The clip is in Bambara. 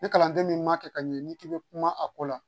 Ni kalanden min ma kɛ ka ɲɛ n'i k'i bɛ kuma a ko la